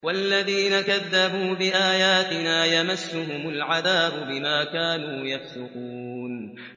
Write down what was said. وَالَّذِينَ كَذَّبُوا بِآيَاتِنَا يَمَسُّهُمُ الْعَذَابُ بِمَا كَانُوا يَفْسُقُونَ